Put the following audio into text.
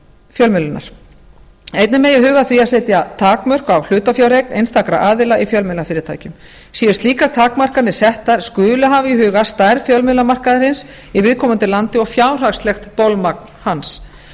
fjölmiðlunar einnig megi huga að því að setja takmörk á hlutafjáreign einstakra aðila í fjölmiðlafyrirtækjum séu slíkar takmarkanir settar skuli hafa í huga stærð fjölmiðlamarkaðarins í viðkomandi landi og fjárhagslegt bolmagn hans